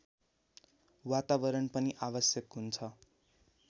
वातावरण पनि आवश्यक हुन्छ